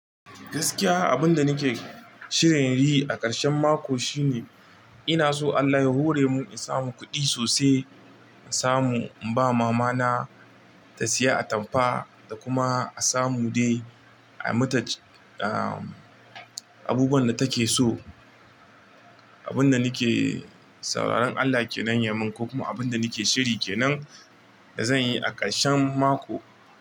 Gaskiya abin da nake shirin yi a ƙarshen mako shine ina so Allah ya hore mun in samu kuɗi sosai in samu in ba mama na ta siya atamfa da kuma a samu dai a mata, abubuwan da take so. Abun da nake sauraron Allah ke nan ya mun ko kuma abun da nake shiri kenan da zan yi a ƙarshen mako.